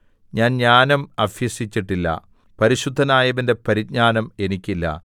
ഞാൻ ജ്ഞാനം അഭ്യസിച്ചിട്ടില്ല പരിശുദ്ധനായവന്റെ പരിജ്ഞാനം എനിക്കില്ല